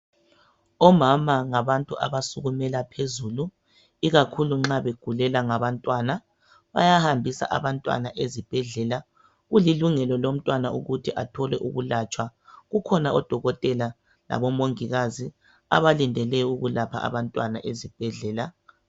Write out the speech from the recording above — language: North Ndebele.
Omama ngabantu abasukumela phezulu ikakhulu nxa begulelwa ngabantwana bayahambisa abantwana ezibhedlela. Kulilungelo lomntwana ukuthi athole ukulatshwa. Kukhona odokotela labomongikazi abalindele ukulapha abantwana ezibhedlela.